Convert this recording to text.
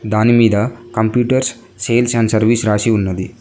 దాని మీద computer sales and service రాసి ఉన్నది.